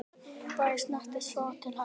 Bragi snérist þó til hægri.